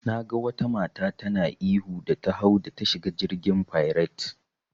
Naga wata mata tana ihu da ta hau da ta shiga jirgin fairet.